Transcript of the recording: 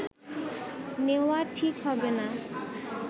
নেওয়া ঠিক হবে না